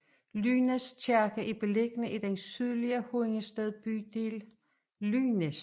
Lynæs Kirke er beliggende i den sydlige Hundestedbydel Lynæs